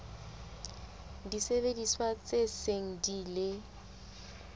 disebediswa tse seng di ile